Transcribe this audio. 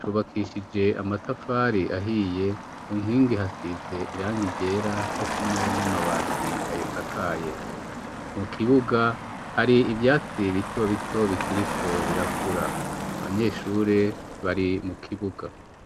cubakishije amatafari ahiye kunkingi hasize irangi ryera cokimwe n'amabati ayisakaye. Mukibuga hari ivyatsi bitobito bikiriko birakura. Abanyeshure bari mukibuga.